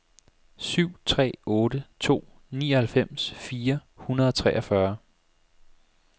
syv tre otte to nioghalvfems fire hundrede og treogfyrre